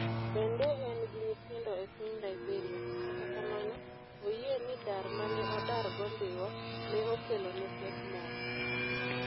Bende en gi nyithindo e piny Liberia, kata kamano, oyie ni dar ma ne odargo Dhiwa ne okelone pek moko.